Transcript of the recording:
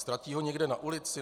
Ztratí ho někde na ulici?